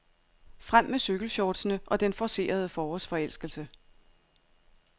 Frem med cykelshortsene og den forcerede forårsforelskelse.